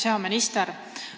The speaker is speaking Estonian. Hea minister!